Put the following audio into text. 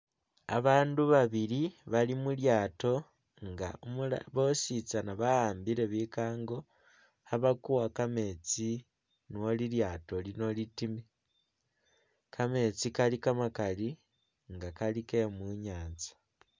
Abandu babili bali mulyaato nga umula bosi tsana bawambile bikango khabakuwa kametsi no lilyato lino litime, kametsi kali kamakali nga kali ke mu nyanza.